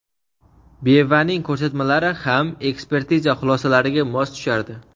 Bevaning ko‘rsatmalari ham ekspertiza xulosalariga mos tushardi.